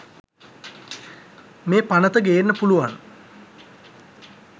මේ පනත ගේන්න පුලුවන්